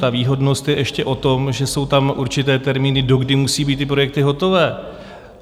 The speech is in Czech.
Ta výhodnost je ještě o tom, že jsou tam určité termíny, do kdy musí být ty projekty hotové.